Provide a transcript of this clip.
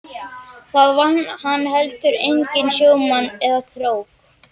Það vann hann heldur enginn í sjómanni eða krók.